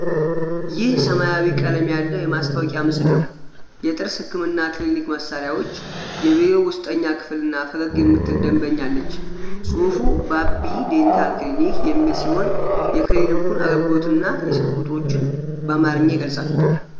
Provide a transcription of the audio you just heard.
ይህ ሰማያዊ ቀለም ያለው የማስታወቂያ ምስል ነው። የጥርስ ሕክምና ክሊኒክ መሳሪያዎች፣ የቢሮው ውስጠኛ ክፍል እና ፈገግ የምትል ደንበኛ አልች። ጽሑፉ "ባቢ ዴንታል ክሊኒክ " የሚል ሲሆን፣ የክሊኒኩን አገልግሎትና የስልክ ቁጥሮችን በአማርኛ ይገልጻል።